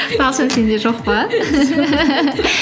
талшын сенде жоқ па